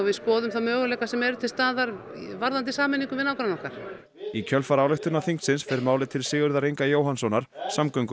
skoðum þá möguleika sem eru til staðar varðandi sameiningu við nágranna okkar í kjölfar ályktunar þingsins fer málið til Sigurðar Inga Jóhannssonar samgöngu og